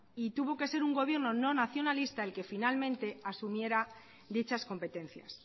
y tuvo que ser un gobierno no nacionalista el que finalmente asumiera dichas competencias